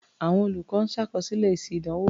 Àwọn olùkọ́ ń ṣàkọsílẹ̀ èsì ìdánwò.